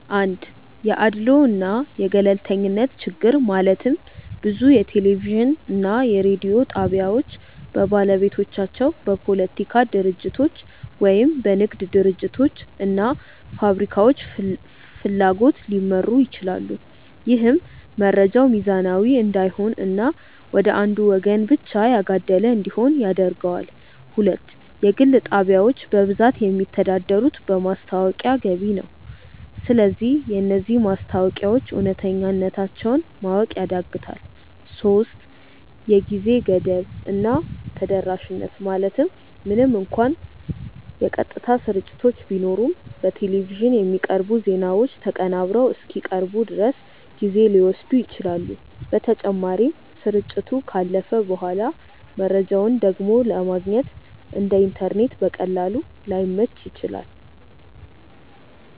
1 የአድልዎ እና የገለልተኝነት ችግር ማለትም ብዙ የቴሌቪዥን እና የሬዲዮ ጣቢያዎች በባለቤቶቻቸው፣ በፖለቲካ ድርጅቶች ወይም በንግድ ድርጅቶች እና ፋብሪካዎች ፍላጎት ሊመሩ ይችላሉ። ይህም መረጃው ሚዛናዊ እንዳይሆን እና ወደ አንዱ ወገን ብቻ ያጋደለ እንዲሆን ያደርገዋል። 2 የግል ጣቢያዎች በብዛት የሚተዳደሩት በማስታወቂያ ገቢ ነው። ስለዚህ የነዚህ ማስታወቂያዎች እውነተኛነታቸውን ማወቅ ያዳግታል 3የጊዜ ገደብ እና ተደራሽነት ማለትም ምንም እንኳን የቀጥታ ስርጭቶች ቢኖሩም፣ በቴሌቪዥን የሚቀርቡ ዜናዎች ተቀናብረው እስኪቀርቡ ድረስ ጊዜ ሊወስዱ ይችላሉ። በተጨማሪም፣ ስርጭቱ ካለፈ በኋላ መረጃውን ደግሞ ለማግኘት (እንደ ኢንተርኔት በቀላሉ) ላይመች ይችላል።